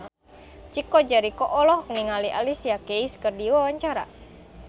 Chico Jericho olohok ningali Alicia Keys keur diwawancara